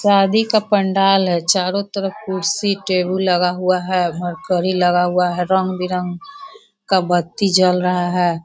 शादी का पंडाल है चारों तरफ कुर्सी टेबल लगा हुआ है लगा हुआ है रंग-बीरांग का बत्ती जल रहा है।